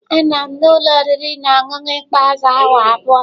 Anọ m na ụlọ oriri na ọṅụṅụ ikpeazụ awa abụọ.